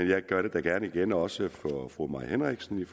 jeg gør det gerne igen også for fru mai henriksen i